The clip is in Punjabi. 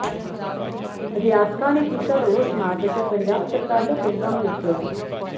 ਅਧਿਆਪਕਾਂ ਨੇ ਕੀਤਾ ਰੋਸ ਮਾਰਚ ਅਤੇ ਪੰਜਾਬ ਸਰਕਾਰ ਦਾ ਪੁਤਲਾ ਫੂਕਿਆ